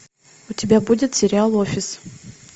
у тебя будет сериал офис